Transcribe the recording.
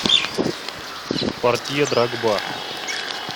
портье дрогба